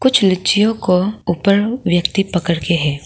कुछ लीचियों को ऊपर व्यक्ति पकड़ के है।